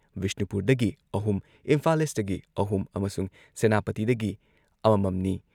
ꯕꯤꯁꯅꯨꯄꯨꯔꯗꯒꯤ ꯑꯍꯨꯝ, ꯏꯝꯐꯥꯜ ꯏꯁꯇꯒꯤ ꯑꯍꯨꯝ ꯑꯃꯁꯨꯡ ꯁꯦꯅꯥꯄꯇꯤꯗꯒꯤ ꯑꯃꯃꯝꯅꯤ ꯫